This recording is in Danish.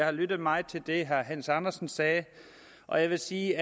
har lyttet meget til det herre hans andersen sagde og jeg vil sige